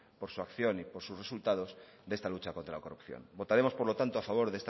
por su acción y por sus resultados de esta lucha contra la corrupción votaremos por lo tanto a favor